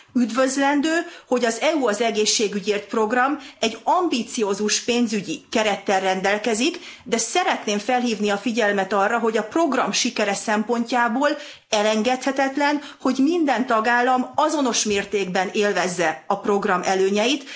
Üdvözlendő, hogy az EU az egészségügyért program ambiciózus pénzügyi kerettel rendelkezik, de szeretném felhívni a figyelmet arra, hogy a program sikere szempontjából elengedhetetlen, hogy minden tagállam azonos mértékben élvezze a program előnyeit.